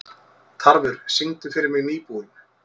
Tarfur, syngdu fyrir mig „Nýbúinn“.